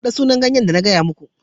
Faɗa sunan ganyen da na gaya muka.